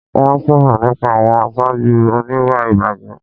Wọ́n sọ̀rọ̀ nípa àwọn aṣáájú oníwà ìbàjẹ́